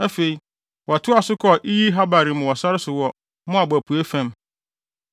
Afei, wɔtoaa so kɔɔ Iye-Haabarim wɔ sare so wɔ Moab apuei fam.